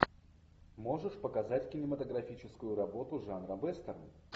можешь показать кинематографическую работу жанра вестерн